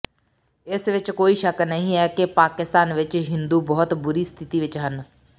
ਇਸ ਵਿੱਚ ਕੋਈ ਸ਼ੱਕ ਨਹੀਂ ਹੈ ਕਿ ਪਾਕਿਸਤਾਨ ਵਿੱਚ ਹਿੰਦੂ ਬਹੁਤ ਬੁਰੀ ਸਥਿਤੀ ਵਿੱਚ ਹਨ